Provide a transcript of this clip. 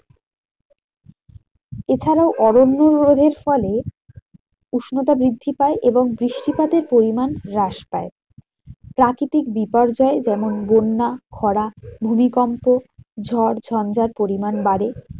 এছাড়াও অরণ্য রোধের ফলে উষ্ণতা বৃদ্ধি পায় এবং বৃষ্টিপাতের পরিমান হ্রাস পায়। প্রাকৃতিক বিপর্যয় যেমন বন্যা, খরা, ভূমিকম্প, ঝড়, ঝঞ্ঝা পরিমান বাড়ে।